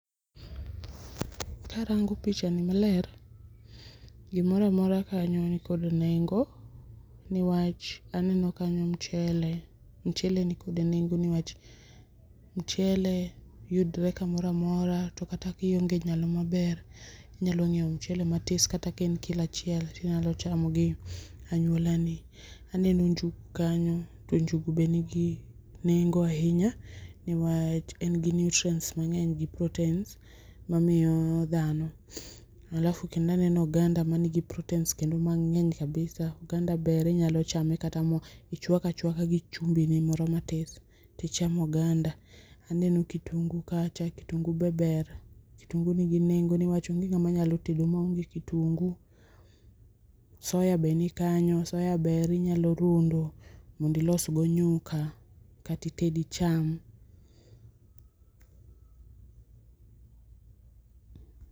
karango pichani maler gimoro amora kanyo nikod nengo niwach aneno kanyo mchele, mchele nikod nengo niwach mchele yudre kamoro amora to kata kionge nyalo maber tinyalo nyiew mchele matis kata kaen kilo achiel tinyalo chamo gi anyuola ni. Aneno njugu kanyo to njugu be nigi nengo ahinya niwach en gi nutrients mangeny gi proteins mamiyo dhano ,alafu kendo aneno oganda manigi proteins kendo mangeny kabisa, oganda ber inyalo chame kata michwako achwaka gi chumbi ni moro matis tichamo oganda , aneno kitungu kacha, kitungu[sc] be ber, kitungu nigi nengo niwach onge ngama nyalo tedo maonge kitungu. Soya be nikacha inyalo rundo mondo ilos go nyuka kata ited icham